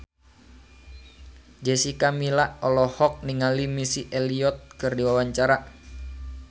Jessica Milla olohok ningali Missy Elliott keur diwawancara